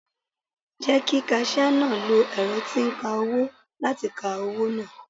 Jẹ́ kí kasíà náà lo ẹ̀rọ tí ń kawó láti ka owó náà.